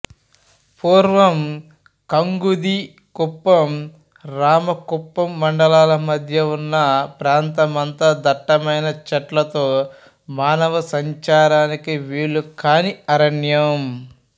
పూర్వం కంగుంది కుప్పం రామకుప్పం మండలాల మధ్య ఉన్న ప్రాంత మంతా దట్టమైన చెట్లతో మానవ సంచారానికి వీలుకాని అరణ్యం